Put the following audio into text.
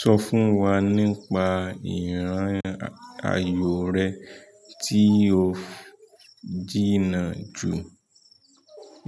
Sọ fún wa nípa ìran ayò rẹ tí o jìnnà jù.